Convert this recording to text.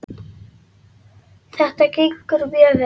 Þetta gengur mjög vel hérna.